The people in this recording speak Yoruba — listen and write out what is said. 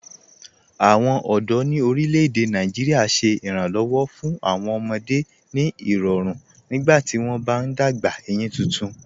Awọn ọdọ ni orílẹ̀-èdè Nàìjíríà ṣẹ̀ ìrànṣéwọ́ fún awọn ọmọdé ni irọ̀run nígbàtí wọn bá n dágbà eyín tuntun.